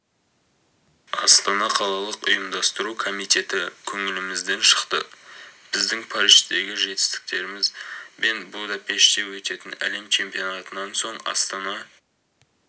астана қалалық ұйымдастыру комитеті көңілімізден шықты біздің париждегі жетістігіміз бен будапеште өтетін әлем чемпионатынан соң астана